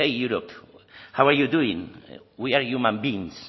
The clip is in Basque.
hey hey europe how are you doing we are human beings